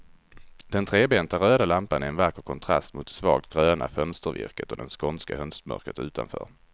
Den trebenta röda lampan är en vacker kontrast mot det svagt gröna fönstervirket och det skånska höstmörkret utanför.